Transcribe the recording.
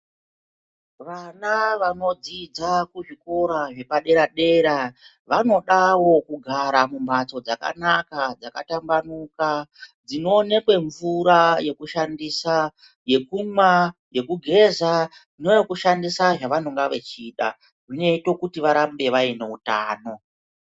Vana vanodzidza kuzvikora zvepadera dera vanodawo kugara mumhatso dzakanaka ,dzakatambanuka dzinoonekwe mvura yekushandisa yekumwa ,yekugeza neyokushandisa zvavanonga vechida zvinoita kuti varambe vainoutano.